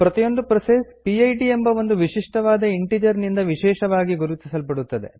ಪ್ರತಿಯೊಂದು process PID ಎಂಬ ಒಂದು ವಿಶಿಷ್ಟವಾದ ಇಂಟಿಜರ್ ನಿಂದ ವಿಶೇಷವಾಗಿ ಗುರುತಿಸಲ್ಪಡುತ್ತದೆ